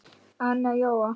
Anna Jóa